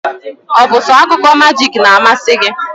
Ọ bụ so akụkọ majik n'amasi gị?